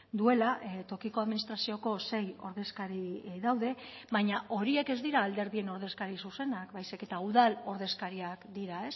duela tokiko administrazioko sei ordezkari daude baina horiek ez dira alderdien ordezkari zuzenak baizik eta udal ordezkariak dira